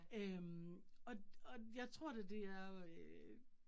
Øh og og jeg tror det det er øh